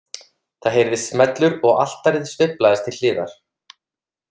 Það heyrðist smellur og altarið sveiflaðist til hliðar.